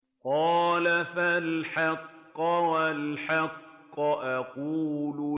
قَالَ فَالْحَقُّ وَالْحَقَّ أَقُولُ